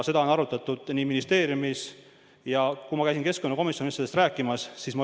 Seda on arutatud ministeeriumis ja ma käisin ka keskkonnakomisjonis sellest rääkimas.